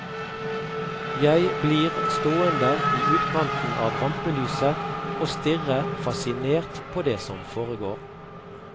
Jeg blir stående i utkanten av rampelyset og stirre fascinert på det som foregår.